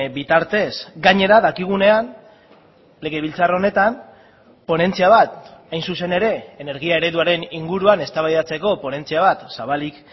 bitartez gainera dakigunean legebiltzar honetan ponentzia bat hain zuzen ere energia ereduaren inguruan eztabaidatzeko ponentzia bat zabalik